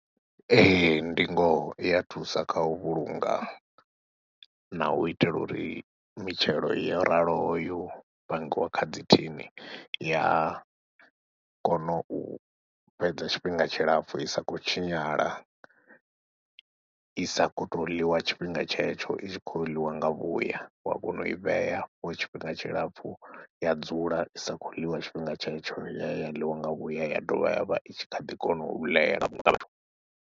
Ee, ndi ngoho i ya thusa kha u vhulunga na u itela uri mitshelo yo raloho yo pangiwa kha dzi thini i ya kona u fhedza tshifhinga tshilapfhu i sa khou tshinyala, i sa khou tou ḽiwa tshifhinga tshetsho i tshi khou ḽiwa nga vhuya wa kona u i vheya for tshifhinga tshilapfhu ya dzula i sa khou ḽiwa tshifhinga tshetsho ya ya ḽiwa nga vhuya ya dovha ya vha i tshi kha ḓi kona u ḽea .